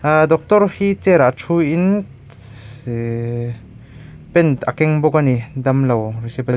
ahh doctor hi chair ah thu in eee pen a keng bawk ani damlo--